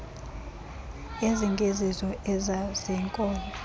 ezingezizo ezabo zeenkobe